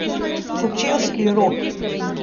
Kočevski rog.